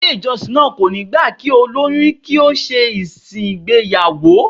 Ilé ìjọsìn náà kò ní gbà kí olóyún kí ó ṣe ìsìn ìgbéyàwó